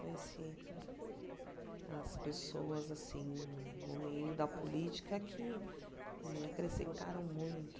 Conheci as pessoas assim no meio da política que me acrescentaram muito.